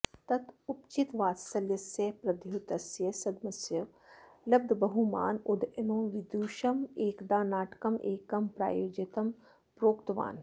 तत उपचितवात्सल्यस्य प्रद्योतस्य सद्मसु लब्धबहुमान उदयनो विदूषकमेकदा नाटकमेकं प्रयोजयितुं प्रोक्तवान्